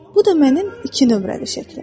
Bu da mənim iki nömrəli şəklim.